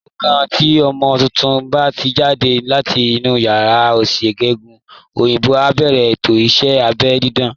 Lọ́gán tí ọmọ tuntun bá ti jáde láti inú ìyá, oníṣègùn òyìnbó á bẹ̀rẹ̀ ètò ìṣẹ́ abẹ́ dídá